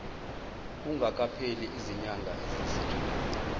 kungakapheli izinyanga eziyisithupha